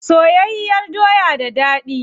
Soyayyar doya da dadi.